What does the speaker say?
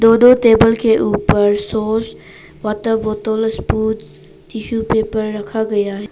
दोनों टेबल के ऊपर सॉस वॉटर बोतल स्पून टिशू पेपर रखा गया ह।